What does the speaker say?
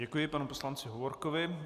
Děkuji panu poslanci Hovorkovi.